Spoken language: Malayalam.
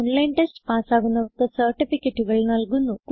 ഓൺലൈൻ ടെസ്റ്റ് പാസ്സാകുന്നവർക്ക് സർട്ടിഫികറ്റുകൾ നല്കുന്നു